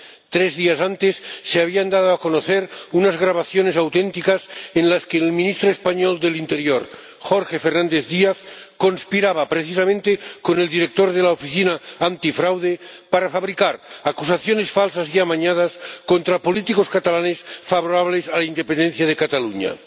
Tres días antes se habían dado a conocer unas grabaciones auténticas en las que el ministro español del Interior, Jorge Fernández Díaz, conspiraba precisamente con el director de la Oficina Antifraude para fabricar acusaciones falsas y amañadas contra políticos catalanes favorables a la independencia de Cataluña.